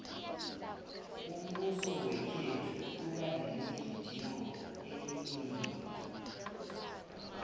umbuso wakhethu uba nemigidingo eminingi